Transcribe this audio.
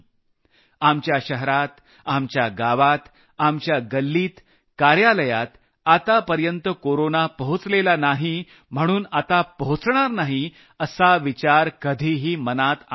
आपल्या शहरात आपल्या गावात आपल्या गल्लीत कार्यालयात आतापर्यंत कोरोना पोहचलेला नाही म्हणून आता पोहचणार नाही असा विचार कधीही मनात आणू नका